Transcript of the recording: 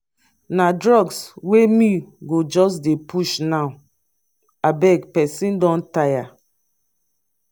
na drugs wey me go just dey push now abeg pesin don tire